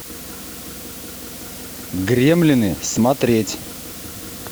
гремлины смотреть